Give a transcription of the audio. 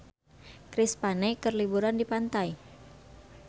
Chris Pane keur liburan di pantai